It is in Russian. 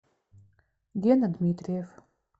гена дмитриев